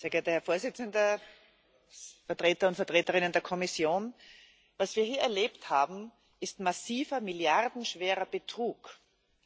Herr Präsident, Vertreter und Vertreterinnen der Kommission! Was wir hier erlebt haben, ist massiver, milliardenschwerer Betrug